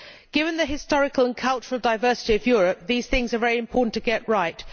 Given the historical and cultural diversity of Europe, these things are very important to get right.